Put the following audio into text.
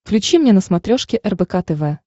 включи мне на смотрешке рбк тв